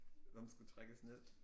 Den skulle trækkes ned